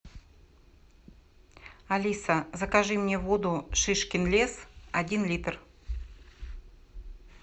алиса закажи мне воду шишкин лес один литр